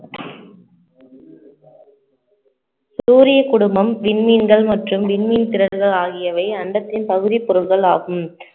சூரிய குடும்பம் விண்மீன்கள் மற்றும் விண்மீன் திரள்கள் ஆகியவை அண்டத்தின் பகுதிப் பொருட்கள் ஆகும்